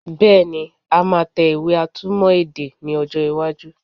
Bẹ́ẹ̀ni, a máa tẹ ìwé atúmọ̀ èdè ní ọjọ́ iwájú